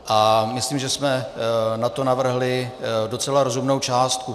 A myslím, že jsme na to navrhli docela rozumnou částku.